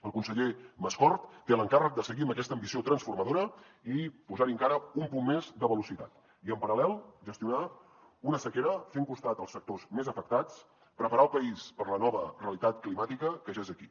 el conseller mascort té l’encàrrec de seguir amb aquesta ambició transformadora i posar hi encara un punt més de velocitat i en paral·lel gestionar una sequera fent costat als sectors més afectats preparar el país per la nova realitat climàtica que ja és aquí